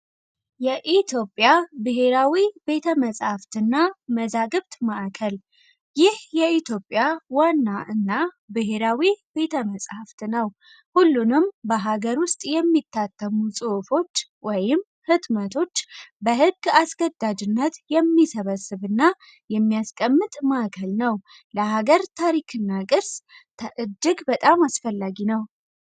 የኢትዮጵያ ብሔራዊ ቤተ መጽሐፍትና መዛግብት ማዕከል ይህ የኢትዮጵያ ዋና እና ብሔራዊ ቤተ መጽሐፍት ነው። ሁሉንም በሀገር ውስጥ የሚታተሙ ጽዕፎች ወይም ሕትመቶች በሕግ አስገዳጅነት የሚሰበስብና የሚያስቀምጥ ማዕከል ነው ።ለሀገር ታሪክና ቅርስ ተእጅግ በጣም አስፈላጊ ነው።